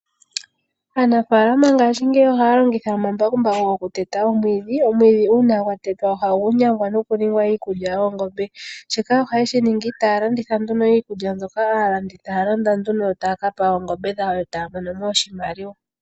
Aanafaalama ngashingeyi ohaya longitha omambakumbaku okuteta omwiidhi, omwiidhi uuna watetwa ohagu nyangwa nokuninga iikulya yoongombe. Shika ohaye shiningi, taya landitha nduno iikulya mbyoka haya landa nduno yo taya kapa oongombe dhawo nokumona mo oshimaliwa.